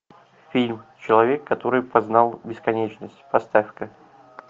фильм человек который познал бесконечность поставь ка